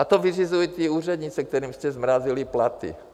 A to vyřizují ty úřednice, kterým jste zmrazili platy.